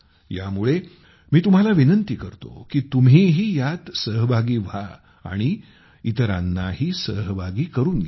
त्यामुळे मी तुम्हाला विनंती करतो की तुम्हीही यात सहभागी व्हा आणि इतरांनाही सहभागी करून घ्या